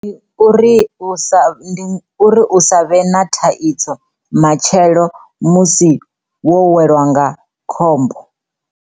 Ndi uri u sa, uri u sa vhe na thaidzo matshelo musi wo weliwa nga khombo.